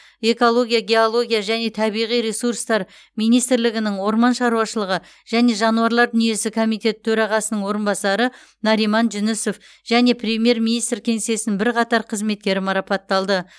экология геология және табиғи ресурстар министрлігінің орман шаруашылығы және жануарлар дүниесі комитеті төрағасының орынбасары нариман жүнісов және премьер министр кеңсесінің бірқатар қызметкері марапатталды